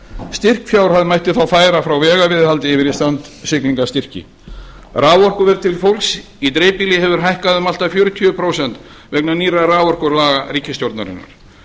styrkfjárhæð mætti þó færa frá vegaviðhaldi yfir í strandsiglingastyrki raforkuverð til fólks yfir í dreifbýli hefur hækkað um allt að fjörutíu prósent vegna nýrra raforkulaga ríkisstjórnarinnar